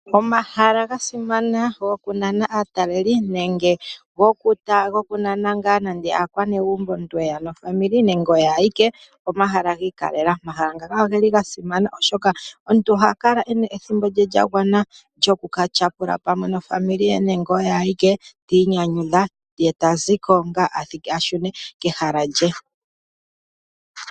Omahala ga simana gokunana aateleli nenge gokunana aakwanegumbo omuntu eya nezimo lye nenge eya oye awike pomahala giikalela, omahala ngaaka ogeli ga simana oshoka omuntu oha kala ena ethimbo lye lya gwana lyoku ka tyapula pamwe ngo oye awike ye ta zi ko ashune kehala lye.